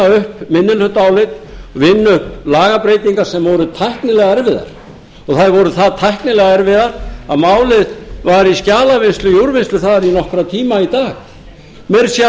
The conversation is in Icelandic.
plagg vinna upp minnihlutaálit vinna upp lagabreytingar sem voru tæknilega erfiðar það voru það tæknilega erfiðar að málið var í skjalavinnslu í úrvinnslu þar í nokkra tíma í dag meira að segja